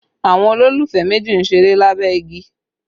Àwọn olólùfẹ́ méjì ń ṣeré lábẹ́ igi